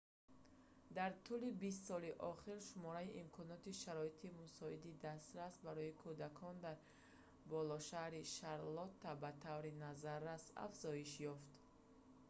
дар тӯли 20 соли охир шумораи имконоти шароити мусоиди дастрас барои кӯдакон дар болошаҳри шарлотта ба таври назаррас афзоиш ёфт